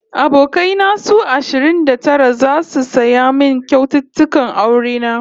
Abokai na su ashirin da tara zasu saya min kyaututtukan aure na